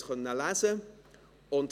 Sie konnten es lesen.